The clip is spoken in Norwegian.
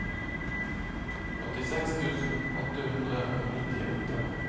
åttiseks tusen åtte hundre og nittiåtte